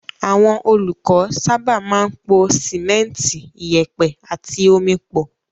Àwọn olùkọ́ sábà máa ń po sìmẹ́ńtì, ìyẹ̀pẹ̀ àti omi pọ̀.